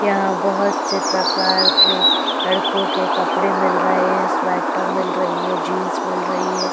यहाँ बहुत से प्रकार के लडकों के कपडे मिल रहे हैं स्वेटर मिल रही है जीन्स मिल रही है।